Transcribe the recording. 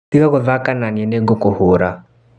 Tiga gũthaka naniĩ nĩgũkũhũra.